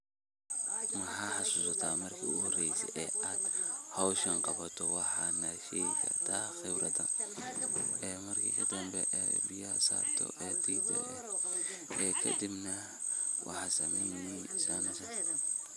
Maxaa xasusataa markii ugu horreysay ee aad hawshan qabato, waxanaa sheegi kartaa khibradaada, marki danbe, ee biyaaha saarto, ee dirto, ee kadiib nah waxaa sameynesaa San.